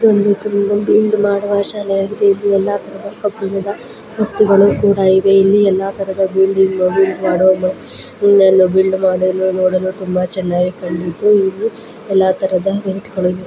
ಇದು ಒಂದು ಜಿಮ್ ಮಾಡುವ ಶಾಲೆಯಾಗಿದೆ ಇಲ್ಲಿ ಎಲ್ಲ ತರದ ಕಬ್ಬಿಣದ ವಸ್ತುಗಳು ಕೂಡ ಇವೆ ಎಲ್ಲ ತರಹದ ಬಿಲ್ಡ್ ಮಾಡಲು ನೋಡಲು ತುಂಬಾ ಚೆನ್ನಾಗಿ ಕಂಡಿತು ಇದು ಎಲ್ಲ ತರಹದ ವೆಯಿಟ್ ಗಳು --